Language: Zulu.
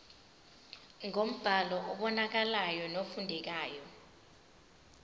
ngombhalo obonakalayo nofundekayo